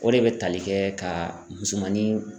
O de bɛ tali kɛ ka musomanin